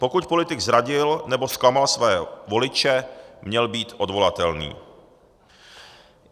Pokud politik zradil nebo zklamal své voliče, měl být odvolatelný.